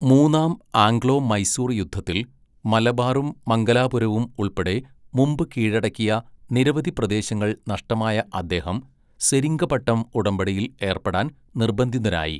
മൂന്നാം ആംഗ്ലോ മൈസൂർ യുദ്ധത്തിൽ, മലബാറും മംഗലാപുരവും ഉൾപ്പെടെ മുമ്പ് കീഴടക്കിയ നിരവധി പ്രദേശങ്ങൾ നഷ്ടമായ അദ്ദേഹം സെരിംഗപട്ടം ഉടമ്പടിയിൽ ഏർപ്പെടാൻ നിർബന്ധിതനായി.